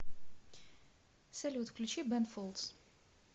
салют включи бэн фолдс